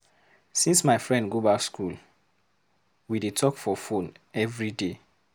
Since my friend go back skool, we dey talk for fone everyday.